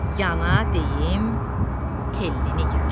Yana deyim Telli Nigar.